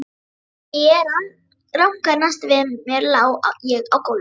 Þegar ég rankaði næst við mér lá ég á gólfinu.